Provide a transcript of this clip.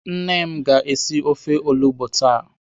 Nne m ga-esi ofe olugbo taa.